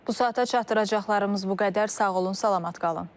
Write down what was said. Bu saata çatdıracaqlarımız bu qədər, sağ olun, salamat qalın.